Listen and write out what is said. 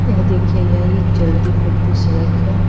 यह देखिए यह एक चलती फिरती सड़क है।